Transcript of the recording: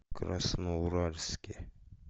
красноуральске